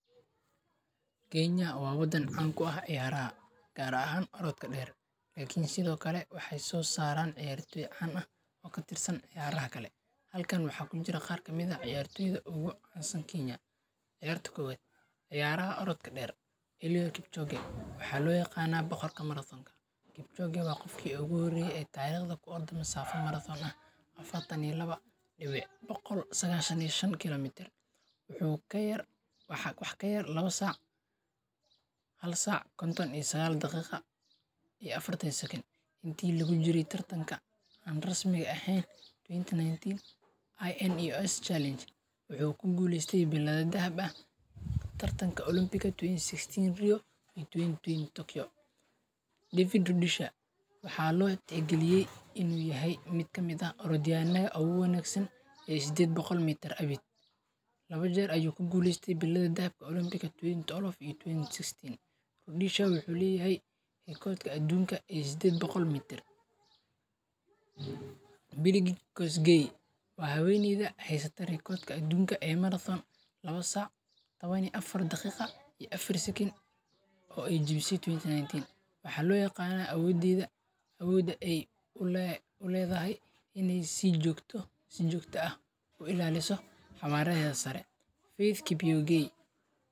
Kenya wa wadan can kuah ciyaraha, gar ahan orodka de lkn sithi o kale wxay so saran ciyartoy can ah o karirsan ciyaraha kale, halkan wxa kujira qar kamida ah ciyartoda o gu cansan Kenya ciyarta kowad ciyaraha orodka der Liwe kipchoke wxa loyaqana boqorka maradon kipchogewa qofki o gu horeye tage safi maradon ah afartan iyo lawa .boqol sagashan iyo shan kilomitart, wax kayar lawa sac, halsac konton iyo sagal daqiqaiyo afartan seken inte lagujire tartanka an rasmiga ehen sagal iyo tawan ins challenge ,wxu kuguleyte bilada daba ah tartanka olambiga 2020 Livid judisha wxa lo tixgaliyey in uyahay midkamid ah orodiyana o gu wanagsan ee soded boqol mitar lawa jer ayu kuguleyste bilada dahabka 2012bbetuwen 2016 ludichha wxu leyahay recodki adun eh sided boqlmitar. Bidigis wa haweneyda haysata recodki adunka e maradon sac tawan iyo daqida iyo afar secen o ay jawise 2010 wxa lo aqana awoda ay kuledahay In aysijogta o raliso table hada sare will kipyogey